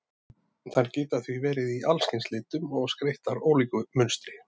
Þær geta því verið í allskyns litum og skreyttar ólíku munstri.